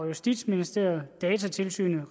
justitsministeriet datatilsynet